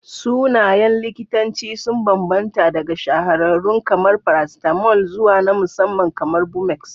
Sunayen likitanci sun bambanta daga shahararrun kamar paracetamol zuwa na musamman kamar bumex.